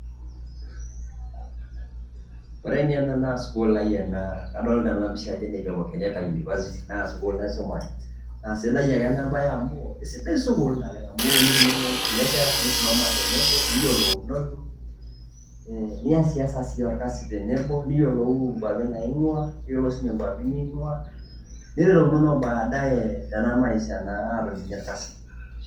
Ore ninye ena naa sukuul ai enaa kodilita ena pichaa ajo ne Jomo kenyatta University naa sukuul naisomaat. Naa sidai ake ena baye amu sidai suukul oleng amu epopo nitumomo o nkulee nkera nisumoma teneboo niiyeluunono. Nieses sii olkasi teneboo niyelou kwaapi naiwua neiyelou sii ninye kwaapi niwua. Niyelounono baadaye tenaa maisha atoom ninye elkasi.